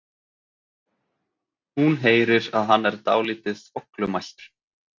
Hún heyrir að hann er dálítið þvoglumæltur.